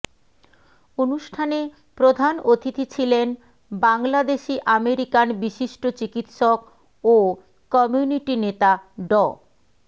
অনুষ্ঠানে প্রধান অতিথি ছিলেন বাংলাদেশি আমেরিকান বিশিষ্ট চিকিৎসক ও কমিউনিটি নেতা ড